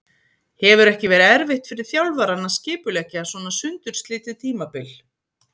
Hefur ekki verið erfitt fyrir þjálfarann að skipuleggja svona sundurslitið tímabil?